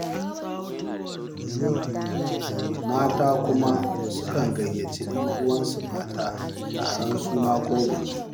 Mata kuma sukan gayyaci 'yan'uwansu mata taron suna ko biki.